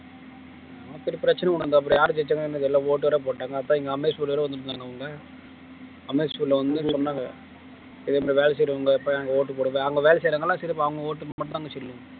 நமக்கு ஒரு பிரச்சினை கொண்டு வந்தா அப்புறம் யாரு ஜெயிச்சாங்கன்னு தெரியலே ஓட்டு வேற போட்டாங்க அப்ப school ல வந்து சொன்னாங்க இதே மாதிரி வேலை செய்யறவங்க அங்க வேலை செய்யறவங்க எல்லாம் சரி அவங்க ஓட்டு மட்டும்தாங்க சொல்லுவோம்